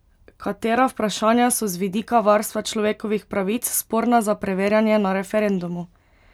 Katera vprašanja so z vidika varstva človekovih pravic sporna za preverjanje na referendumu?